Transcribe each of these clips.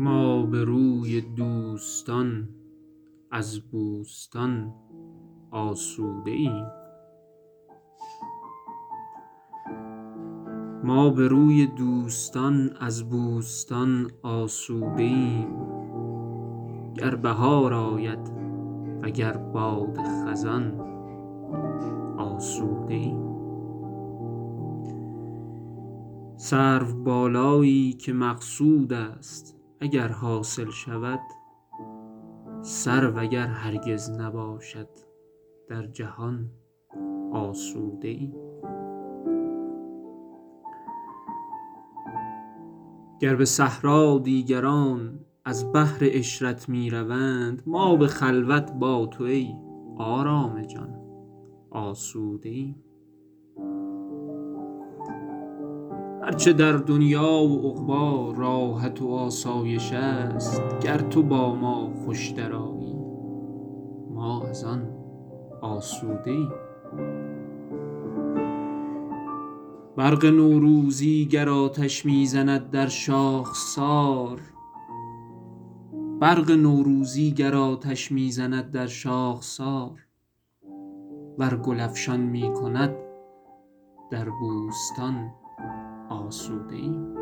ما به روی دوستان از بوستان آسوده ایم گر بهار آید وگر باد خزان آسوده ایم سروبالایی که مقصود است اگر حاصل شود سرو اگر هرگز نباشد در جهان آسوده ایم گر به صحرا دیگران از بهر عشرت می روند ما به خلوت با تو ای آرام جان آسوده ایم هر چه در دنیا و عقبی راحت و آسایش است گر تو با ما خوش درآیی ما از آن آسوده ایم برق نوروزی گر آتش می زند در شاخسار ور گل افشان می کند در بوستان آسوده ایم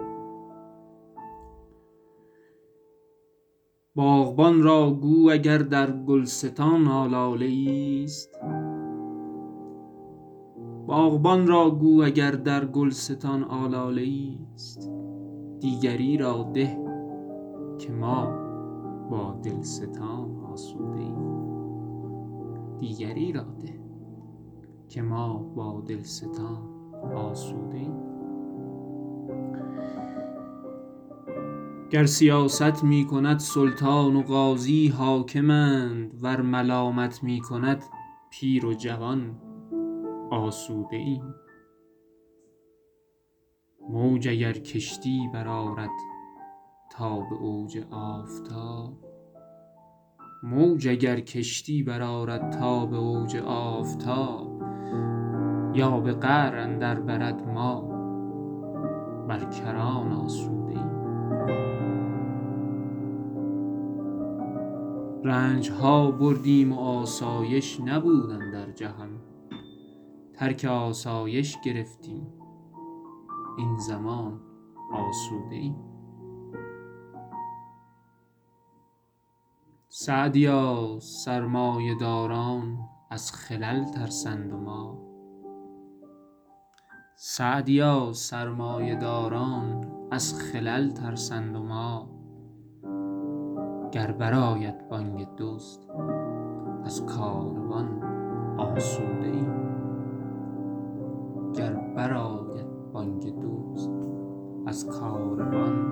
باغبان را گو اگر در گلستان آلاله ایست دیگری را ده که ما با دلستان آسوده ایم گر سیاست می کند سلطان و قاضی حاکمند ور ملامت می کند پیر و جوان آسوده ایم موج اگر کشتی برآرد تا به اوج آفتاب یا به قعر اندر برد ما بر کران آسوده ایم رنج ها بردیم و آسایش نبود اندر جهان ترک آسایش گرفتیم این زمان آسوده ایم سعدیا سرمایه داران از خلل ترسند و ما گر بر آید بانگ دزد از کاروان آسوده ایم